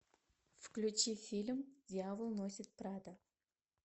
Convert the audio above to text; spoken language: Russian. включи фильм дьявол носит прада